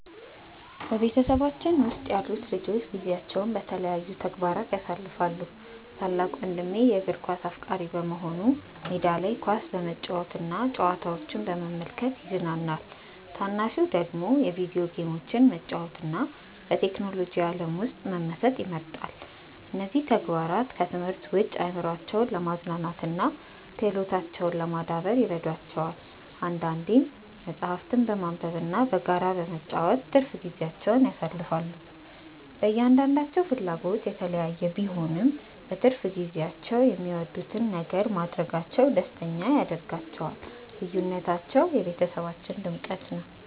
በቤተሰባችን ውስጥ ያሉት ልጆች ጊዜያቸውን በተለያዩ ተግባራት ያሳልፋሉ። ታላቅ ወንድሜ የእግር ኳስ አፍቃሪ በመሆኑ ሜዳ ላይ ኳስ በመጫወትና ጨዋታዎችን በመመልከት ይዝናናል። ታናሹ ደግሞ የቪዲዮ ጌሞችን መጫወትና በቴክኖሎጂ ዓለም ውስጥ መመሰጥ ይመርጣል። እነዚህ ተግባራት ከትምህርት ውጭ አእምሯቸውን ለማዝናናትና ክህሎታቸውን ለማዳበር ይረዷቸዋል። አንዳንዴም መጽሐፍትን በማንበብና በጋራ በመጫወት ትርፍ ጊዜያቸውን ያሳልፋሉ። የእያንዳንዳቸው ፍላጎት የተለያየ ቢሆንም፣ በትርፍ ጊዜያቸው የሚወዱትን ነገር ማድረጋቸው ደስተኛ ያደርጋቸዋል። ልዩነታቸው ለቤተሰባችን ድምቀት ነው።